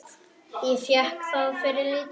Ég fékk það fyrir lítið.